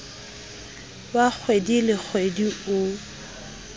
wa kgwedi le kgwedi o